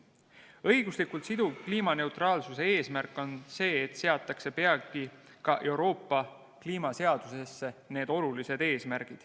Õiguslikult siduv kliimaneutraalsuse eesmärk on see, et peagi seatakse need olulised eesmärgid ka Euroopa kliimaseadusesse.